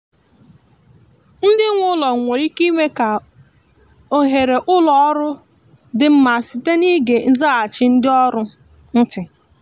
ndị nwe ụlọ nwere ike ime ka oghere ụlọ ọrụ dị mma site n’ịge nzaghachi ndị ọrụ ntị